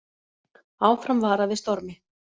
Áfram varað við stormi